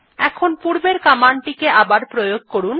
এখন পূর্বের কমান্ড টিকে আবার প্রয়োগ করুন